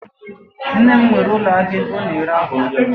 Nne m nwere ulo ahia ebe o na ere akwa